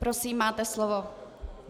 Prosím, máte slovo.